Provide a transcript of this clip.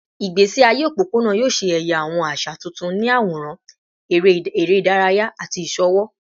Igbesi aye opopona yoo ṣe ẹya awọn aṣa tuntun ni aworan, ere idaraya, ati iṣowo